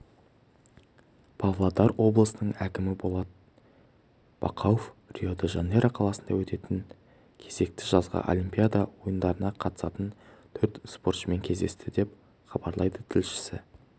павлодар облысының әкімі болат бақауов рио-де-жанейро қаласында өтетін кезекті жазғы олимпиада ойындарына қатысатын төрт спортшымен кездесті деп хабарлайды тілшісі